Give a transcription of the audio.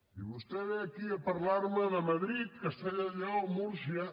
i vostè ve aquí a parlar me de madrid castella i lleó múrcia